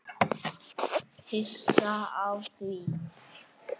Hissa á því?